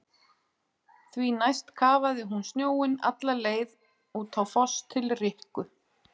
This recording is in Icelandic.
Því næst kafaði hún snjóinn alla leið út á Foss til Rikku.